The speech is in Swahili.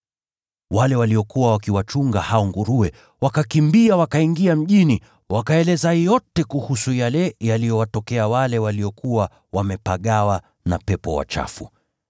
Wale watu waliokuwa wakiwachunga hao nguruwe wakakimbia wakaingia mjini, wakaeleza yote kuhusu yale yaliyowatokea wale waliokuwa wamepagawa na pepo wachafu.